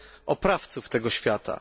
oprawców tego świata.